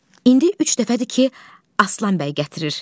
İndi üç dəfədir ki, Aslan bəy gətirir.